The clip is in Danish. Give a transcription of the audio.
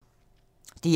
DR2